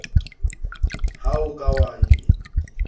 ha o ka wa e